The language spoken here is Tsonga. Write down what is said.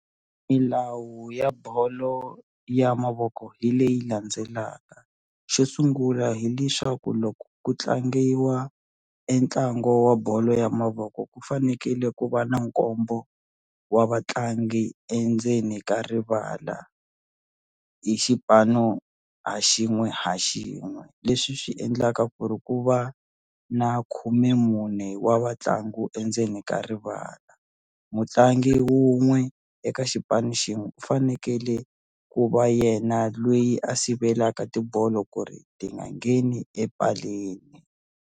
Milawu ya bolo ya mavoko hi leyi landzelaka xo sungula hileswaku loko ku tlangiwa e ntlangu wa bolo ya mavoko ku fanekele ku va na nkombo wa vatlangi endzeni ka rivala hi xipano ha xin'we ha xin'we leswi swi endlaka ku ri ku va na khumemune wa vatlangu endzeni ka rivala mutlangi wun'we eka xipano xin'we u fanekele ku va yena loyi a sivelaka tibolo ku ri ti nga ngheni epaleni.